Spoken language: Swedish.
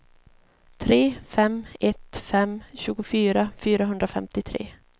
tre fem ett fem tjugofyra fyrahundrafemtiotre